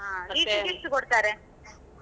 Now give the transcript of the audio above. ಹಾ liter ಗ್ ಎಸ್ಟ್ ಕೊಡ್ತಾರೆ?